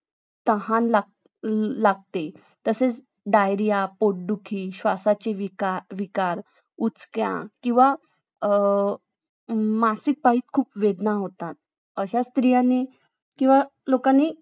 हां दोन तीन दिवसात त्याचा सण झाला ना नंतरचा सण आला ना जवळ